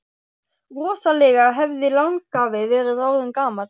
Rosalega hefði langafi verið orðinn gamall!